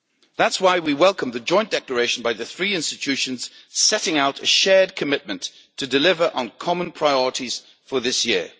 That is why we welcome the joint declaration by the three institutions setting out a shared commitment to deliver on common priorities for this year.